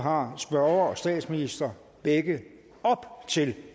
har spørgeren og statsministeren begge op til